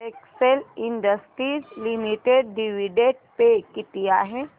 Excel Industries Limited dividend pay किती आहे